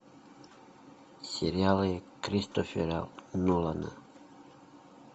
сериалы кристофера нолана